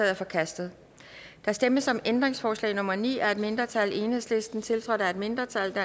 er forkastet der stemmes om ændringsforslag nummer ni af et mindretal tiltrådt af et mindretal og